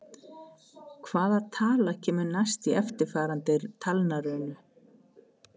Hvaða tala kemur næst í eftirfarandi talnarunu?